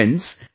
Friends,